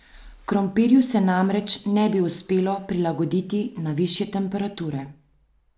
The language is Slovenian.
Krompirju se namreč ne bi uspelo prilagoditi na višje temperature.